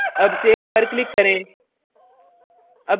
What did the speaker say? अब सेव पर click करें